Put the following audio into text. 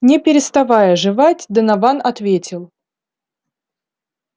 не переставая жевать донован ответил